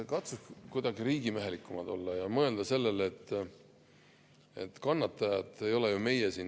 Katsuge ikka kuidagi riigimehelikumad olla ja mõelda sellele, et kannatajad ei ole ju meie.